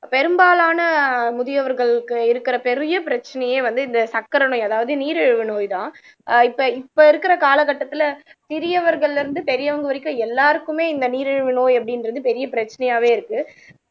பெரும்பாலான முதியவர்களுக்கு இருக்கிற பெரிய பிரச்சனையே வந்து இந்த சர்க்கரை நோய் அதாவது நீரிழிவு நோய்தான் ஆஹ் இப்ப இப்ப இருக்கற கால கட்டத்துல சிறியவர்கள்ல இருந்து பெரியவங்க வரைக்கும் எல்லாருக்குமே இந்த நீரிழிவு நோய் அப்படின்றது பெரிய பிரச்சனையாவே இருக்கு